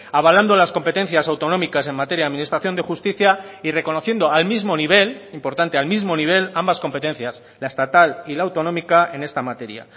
avalando las competencias autonómicas en materia de administración de justicia y reconociendo al mismo nivel importante al mismo nivel ambas competencias la estatal y la autonómica en esta materia